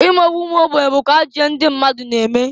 Imegbu umuogbenye bukwa ajọ ihe ndị mmadụ na-eme.